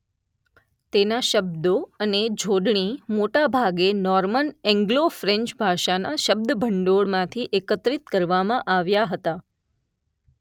તેના શબ્દો અને જોડણી મોટા ભાગે નોર્મન એન્ગ્લો ફ્રેન્ચ ભાષાના શબ્દભંડોળમાંથી એકત્રિત કરવામાં આવ્યા હતા